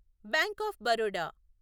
bank of Baroda